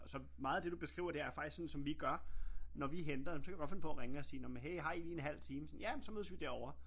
Så meget af det du beskriver det er faktisk sådan som vi gør når vi henter nåh men så kan jeg godt finde på og ringe og sige nåh men hey har I lige en halv time sådan ja men så mødes vi derovre